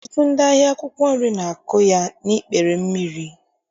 Ọtụtụ ndị ahịa akwụkwọ nri na-akọ ya n'ikpere mmiri